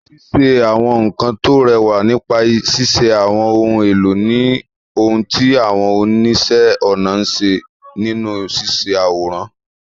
Ṣíṣe àwọn nkan tó rẹwà nípa ṣíṣe àwọn ohun èlò ni ohun tí àwọn oníṣẹ́-ọnà ń ṣe nínú ṣíṣe àwòrán.